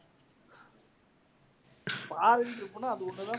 foriegn trip னா அது ஒண்ணு தான்.